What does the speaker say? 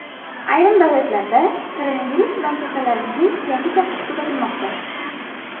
Ayrim davlatlarda koronavirus bilan kasallanishning yangi cho‘qqisi kuzatilmoqda.